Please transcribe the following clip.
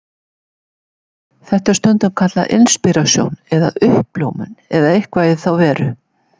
Þetta er stundum kallað inspírasjón eða uppljómun eða eitthvað í þá veru.